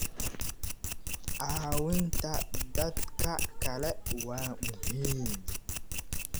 Caawinta dadka kale waa muhiim.